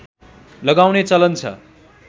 लगाउने चलन छ